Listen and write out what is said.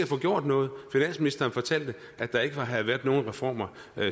få gjort noget finansministeren fortalte at der ikke havde været nogen reformer